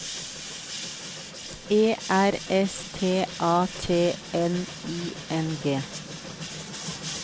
E R S T A T N I N G